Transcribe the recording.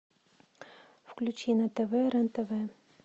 включи на тв рен тв